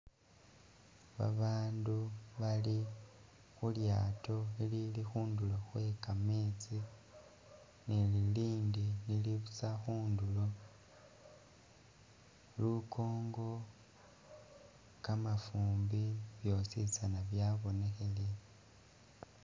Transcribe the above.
Babandu Bali khu lyaato lili khundulo Khwe kametsi ni lilindi lili busa khundulo, lukongo, kamafumbi bhosi tsana byabonekhele